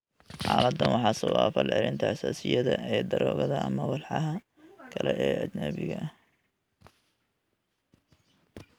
Xaaladdan waxaa sababa falcelinta xasaasiyadda ee daroogada ama walxaha kale ee ajnabiga ah.